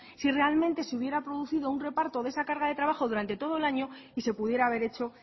si realmente se hubiera producido un reparto de esa carga de trabajo durante todo el año y se pudiera haber hecho